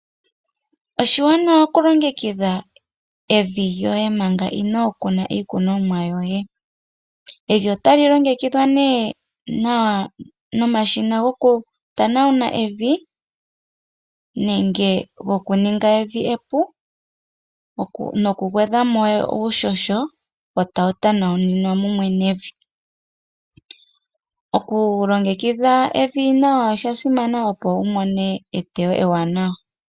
Oshiwanawa oku longekidha evi lyoye manga inoo kuna iikunomwa yoye. Evi oto li longekidha nee nawa nomashina goku tanawuna evi nenge goku ninga evi epu noku gwedha mo uuhoho e tawu tanauninwa mumwe nevi. Oku longekidha evi nawa osha simana, opo wu mone etewo ewaanawa.